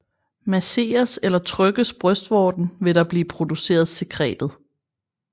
Masseres eller trykkes brystvorten vil der blive produceret sekretet